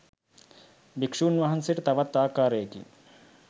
භික්ෂූන් වහන්සේට තවත් ආකාරයකින්